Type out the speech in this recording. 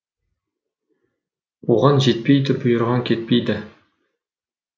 қуған жетпейді бұйырған кетпейді